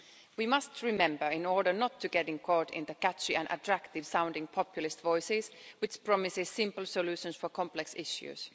We must remember in order not to get caught in the catchy and attractive sounding populist voices which promise simple solutions for complex issues.